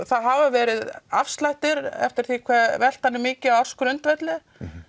það hafa verið afslættir eftir því hve veltan er mikil á ársgrundvelli